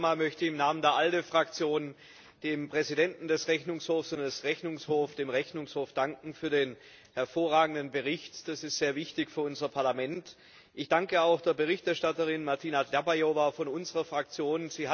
Zunächst einmal möchte ich im Namen der ALDE Fraktion dem Präsidenten des Rechnungshofs und dem Rechnungshof danken für den hervorragenden Bericht. Das ist sehr wichtig für unser Parlament. Ich danke auch der Berichterstatterin Martina Dlabajová von unserer Fraktion.